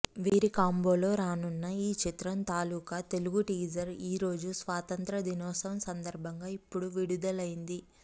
వీరి కాంబోలో రానున్న ఈ చిత్రం తాలూకా తెలుగు టీజర్ ఈ రోజు స్వాతంత్ర దినోత్సవం సందర్భంగా ఇప్పుడు విడుదలైంది